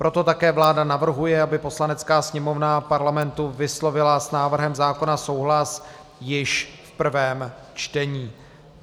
Proto také vláda navrhuje, aby Poslanecká sněmovna Parlamentu vyslovila s návrhem zákona souhlas již v prvém čtení.